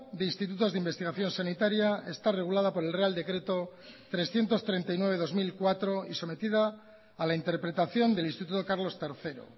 de institutos de investigación sanitaria está regulada por el real decreto trescientos treinta y nueve barra dos mil cuatro y sometida a la interpretación del instituto carlos tercero